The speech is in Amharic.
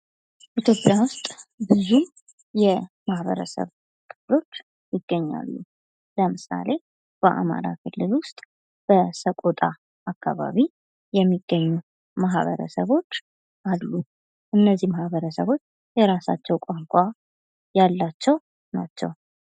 ኢትዮጵያ ውስጥ ብዙ የማህበረሰብ ክፍሎች ይገኛሉ። ለምሳሌ በአማራ ክልል ውስጥ በሰቆጣ አከባቢ የሚገኙ ማህበረሰቦች አሉ። እነዚህ ማህበረሰቦች የራሳቸው ቋንቋ ያላቸው ናቸው።